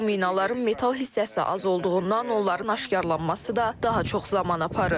Bu minaların metal hissəsi az olduğundan onların aşkarlanması da daha çox zaman aparır.